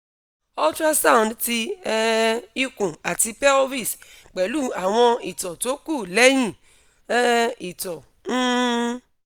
ultrasound ti um ikun ati pelvis pẹlu awon ito to ku lehin um ito um